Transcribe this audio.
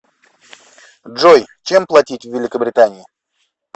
джой чем платить в великобритании